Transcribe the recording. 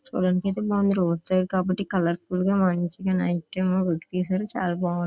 చూడడానికి road side కాబట్టి colourful గా మంచిగా నైట్ పిక్ తీశారు చాలా --